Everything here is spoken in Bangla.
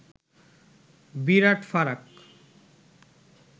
বিরাট ফারাক